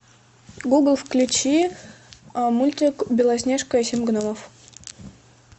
гугл включи мультик белоснежка и семь гномов